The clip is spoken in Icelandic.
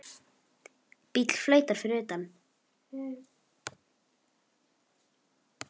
Bíll flautar fyrir utan.